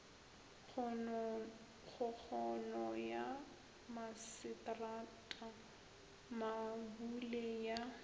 kgokgono ya masetrata mabule ya